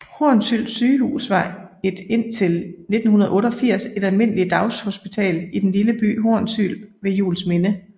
Hornsyld Sygehus var et indtil 1988 et almindeligt daghospital i den lille by Hornsyld ved Juelsminde